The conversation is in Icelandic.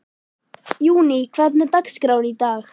Júní, hvernig er dagskráin í dag?